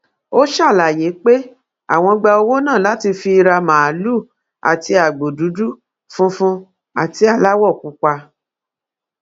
ó ṣàlàyé pé àwọn gba owó náà láti fi ra màálùú àti agbo dúdú funfun àti aláwọ pupa